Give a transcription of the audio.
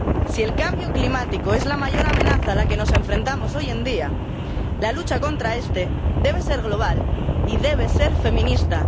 Si el cambio climático es la mayor amenaza a la que nos enfrentamos hoy en día, la lucha contra este debe ser global y debe ser feminista.